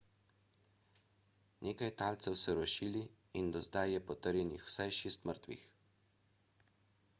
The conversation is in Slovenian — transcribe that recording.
nekaj talcev so rešili in do zdaj je potrjenih vsaj šest mrtvih